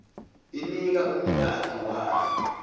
inika umnikati wayo